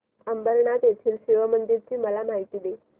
अंबरनाथ येथील शिवमंदिराची मला माहिती दे